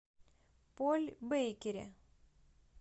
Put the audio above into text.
поль бейкери